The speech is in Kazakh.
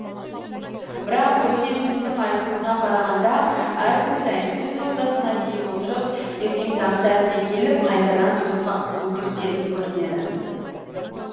бірақ гүлсезімнің айтуына қарағанда әр күн сайын түн ортасына дейін отырып ерте таң сәріде келіп қайтадан жұмысқа қызу кірісетін көрінеді